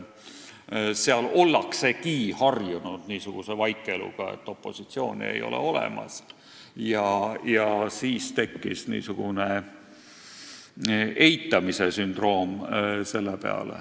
Seal ollakse harjunud niisuguse vaikeluga, et opositsiooni ei ole olemas, ja siis tekkis niisugune eitamise sündroom.